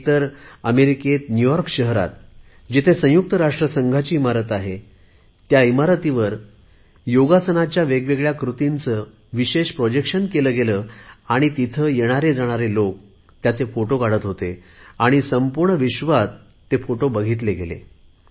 एक तर अमेरिकेत न्युयॉर्क शहरात जिथे संयुक्त राष्ट्रसंघाची इमारत आहे त्या इमारतीवर योगासनाच्या वेगवेगळ्या कृतींचे विशेष सादरीकरण केले गेले आणि तिथे येणारेजाणारे लोक फोटो काढत होते आणि संपूर्ण विश्वात ते फोटो बघितले गेले